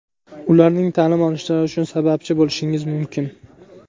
ularning ta’lim olishlari uchun sababchi bo‘lishingiz mumkin.